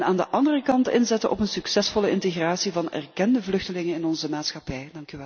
Aan de andere kant inzetten op een succesvolle integratie van erkende vluchtelingen in onze maatschappij.